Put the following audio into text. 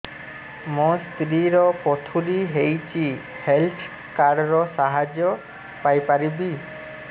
ମୋ ସ୍ତ୍ରୀ ର ପଥୁରୀ ହେଇଚି ହେଲ୍ଥ କାର୍ଡ ର ସାହାଯ୍ୟ ପାଇପାରିବି